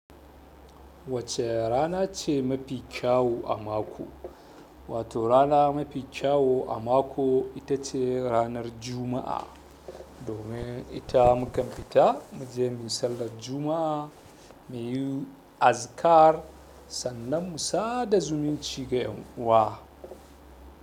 Wacce rana ce mafi kyau a mako? Wato rana mafi kyau a mako ita ce ranar Juma'a. Domin ita mu kan fita mu je mu yi sallan Juma'a, mu yi azikar, sannan mu sada zumuncin ga ƴan uwa.